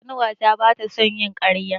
Ƙanuwata ba ta son yin ƙarya.